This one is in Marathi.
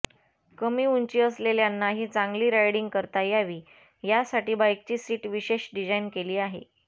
कमी उंची असलेल्यांनाही चांगली रायडिंग करता यावी यासाठी बाइकची सीट विशेष डिझाइन केली आहे